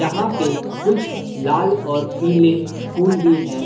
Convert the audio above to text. यहां पे कुछ लाल और पीले फूल भी है।